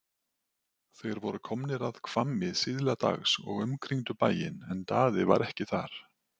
Þeir voru komnir að Hvammi síðla dags og umkringdu bæinn en Daði var ekki þar.